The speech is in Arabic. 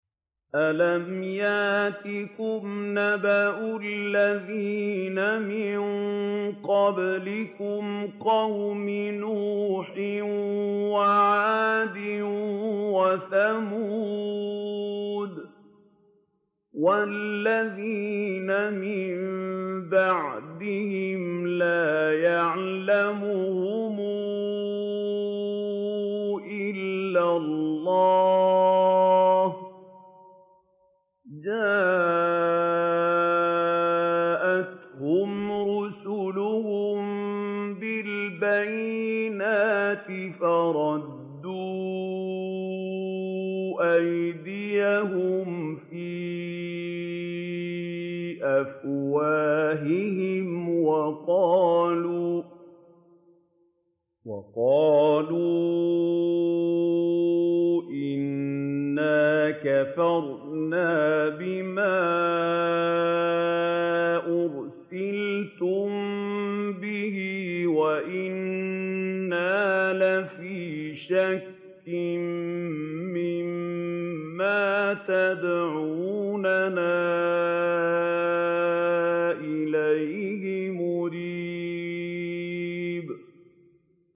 أَلَمْ يَأْتِكُمْ نَبَأُ الَّذِينَ مِن قَبْلِكُمْ قَوْمِ نُوحٍ وَعَادٍ وَثَمُودَ ۛ وَالَّذِينَ مِن بَعْدِهِمْ ۛ لَا يَعْلَمُهُمْ إِلَّا اللَّهُ ۚ جَاءَتْهُمْ رُسُلُهُم بِالْبَيِّنَاتِ فَرَدُّوا أَيْدِيَهُمْ فِي أَفْوَاهِهِمْ وَقَالُوا إِنَّا كَفَرْنَا بِمَا أُرْسِلْتُم بِهِ وَإِنَّا لَفِي شَكٍّ مِّمَّا تَدْعُونَنَا إِلَيْهِ مُرِيبٍ